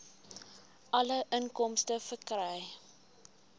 alle inkomste verkry